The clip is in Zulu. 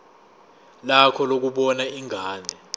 lakho lokubona ingane